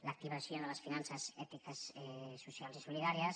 l’activació de les finances ètiques socials i solidàries